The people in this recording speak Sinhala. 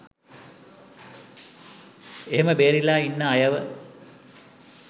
ඒහෙම බේරිලා ඉන්න අයව